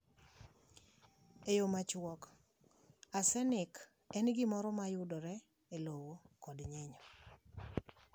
E yo machuok: Arsenic en gimoro ma yudore e lowo kod nyinyo.